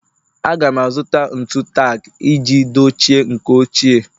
Aga m azụta ntu tak iji dochie nke ochie